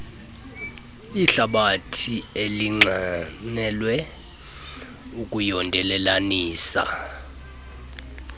ihlabathi elinxanelwe ukuyondelelanisa